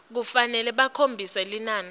kufanele bakhombise linani